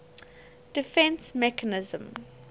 defence mechanism